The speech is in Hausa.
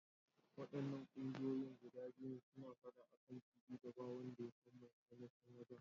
Waɗannan ƙungiyoyin guda biyun suna faɗa akan fili da ba wanda yasan mai ainashin wajan.